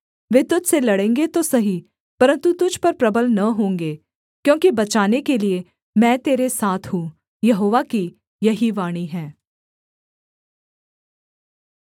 वे तुझ से लड़ेंगे तो सही परन्तु तुझ पर प्रबल न होंगे क्योंकि बचाने के लिये मैं तेरे साथ हूँ यहोवा की यही वाणी है